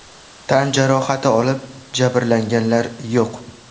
Tan jarohati olib, jabrlanganlar yo‘q.